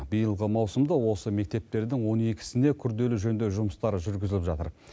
биылғы маусымда осы мектептердің он екісіне күрделі жөндеу жұмыстары жүргізіліп жатыр